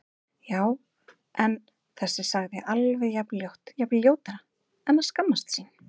Já- en þessi sagði alveg jafn ljótt, jafnvel ljótara En að skammast sín?